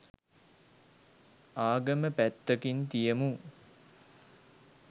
ආගම පැත්තකින් තියමු